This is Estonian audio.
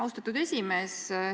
Austatud esimees!